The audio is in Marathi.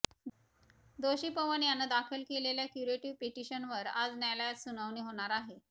दोषी पवन यानं दाखल केलेल्या क्युरेटिव्ह पिटिशनवर आज न्यायालयात सुनावणी होणार आहे